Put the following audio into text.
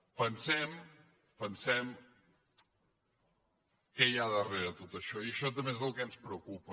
pensem pensem què hi ha darrere de tot això i això també és el que ens preocupa